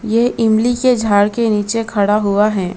ये इमली के झाड़ के नीचे खड़ा हुआ है।